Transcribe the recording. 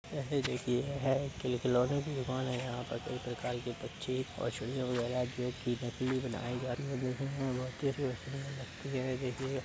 यह भी देखिए यह है खेल-खिलौने की दुकान है। यहाँ पर कई प्रकार के पक्षी और चिड़िया वगैरा जो की नकली बनाए जा रहे हैं। देखने मे बहुत ही सुंदर लगती है देखिए --